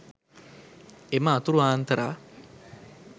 එම අතුරු ආන්තරා